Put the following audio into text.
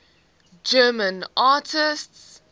german atheists